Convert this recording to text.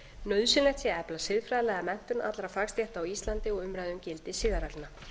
nauðsynlegt sé að efla siðfræðilega menntun allra fagstétta á íslandi og umræðu um gildi siðareglna